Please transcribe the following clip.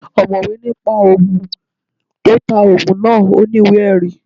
Ọ̀mọ̀wé ní pa Ògùn, tí ó ta Ògùn náà ò ní ìwé ẹ̀rí